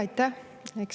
Aitäh!